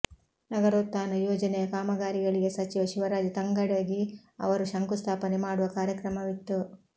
ನಗರೋತ್ಥಾನ ಯೋಜನೆಯ ಕಾಮಗಾರಿಗಳಿಗೆ ಸಚಿವ ಶಿವರಾಜ್ ತಂಗಡಗಿ ಅವರು ಶಂಕುಸ್ಥಾಪನೆ ಮಾಡುವ ಕಾರ್ಯಕ್ರಮವಿತ್ತು